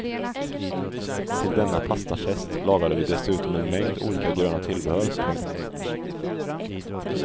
Till denna pastafest lagade vi dessutom en mängd olika gröna tillbehör. punkt